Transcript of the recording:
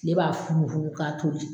Tile b'a fugu fugu ka tobi